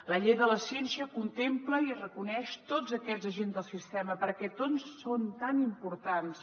la llei de la ciència contempla i reconeix tots aquests agents del sistema perquè tots són tan importants